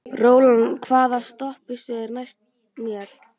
Rólant, hvaða stoppistöð er næst mér?